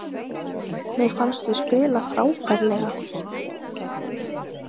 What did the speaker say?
Mér fannst við spila frábærlega